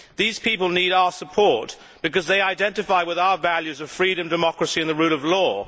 These people need our support because they identify with our values of freedom, democracy and the rule of law.